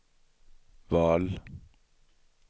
val